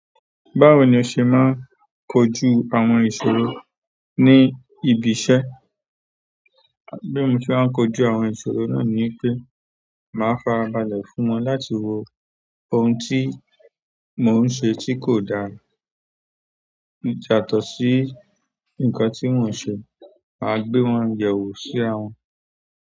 Báwo ni o ṣe máa ń kojú àwọn ìṣòro ní ibi iṣẹ́? Bí mo ti máa ń kojú àwọn ìṣòro náà ni pé màá fàrá balẹ̀ fún wọn láti wo ohun tí mò ń ṣe tí kò dà yàtọ̀ sí nǹkan tí mò ń ṣe, màá gbé wọn yẹwò sí ràwọn.